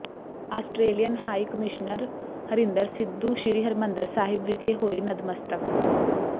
Australian high commissioner Harinder Sidhu Sri Harmandir Sahib ਵਿਖੇ ਹੋਏ ਨਤਮਸਤਕ